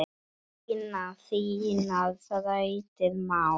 Lina þínar þrautir má.